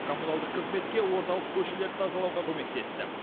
коммуналдық қызметке орталық көшелерді тазалауға көмектесті